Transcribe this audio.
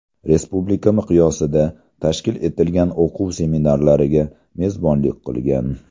Respublika miqyosida tashkil etilgan o‘quv-seminarlariga mezbonlik qilgan.